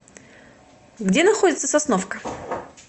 где находится сосновка